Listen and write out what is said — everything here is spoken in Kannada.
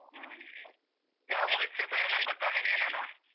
ಹ್ಮ್ ಯಾವಾಗ ಮುಗಿಯುತ್ತೆ ಚೈತ್ರ ಏನಾದ್ರು ಗೊತ್ತಾ ನಿನಿಗೆ ಏನಾ.